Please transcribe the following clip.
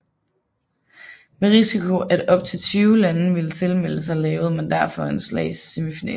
Med risiko at op til 20 lande ville tilmelde sig lavede man derfor en slags semifinale